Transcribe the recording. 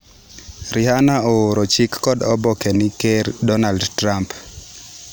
Rihanna ooro chik kod oboke ne ker Donald Trump.